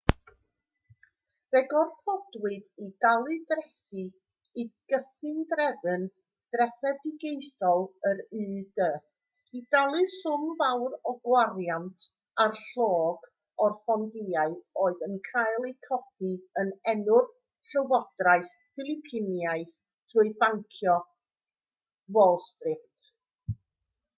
fe'u gorfodwyd i dalu trethi i gyfundrefn drefedigaethol yr u.d. i dalu swm fawr o'r gwariant a'r llog ar fondiau oedd yn cael eu codi yn enw'r llywodraeth philipinaidd trwy dai bancio wall street